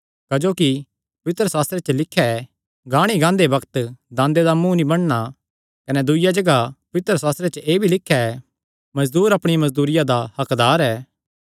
क्जोकि पवित्रशास्त्रे च लिख्या ऐ गाणी गांदे बग्त दांदे दा मुँ नीं बन्नणा कने दूईआ जगाह च पवित्रशास्त्रे च एह़ भी लिख्या ऐ मजदूर अपणी मजदूरिया दा हक्कदार ऐ